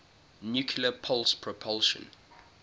nuclear pulse propulsion